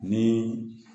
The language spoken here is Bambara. Ni